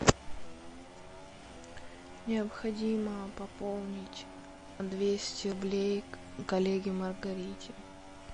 необходимо пополнить двести рублей коллеге маргарите